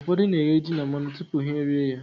Ụfọdụ na-eghe ji na mmanụ tupu ha e rie ya.